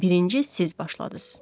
Birinci siz başladız.